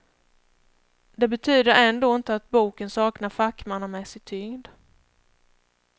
Det betyder ändå inte att boken saknar fackmannamässig tyngd.